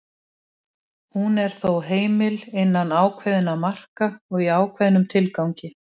Hún er þó heimil innan ákveðinna marka og í ákveðnum tilgangi.